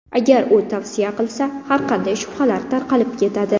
Agar u tavsiya qilsa, har qanday shubhalar tarqalib ketadi”.